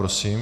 Prosím.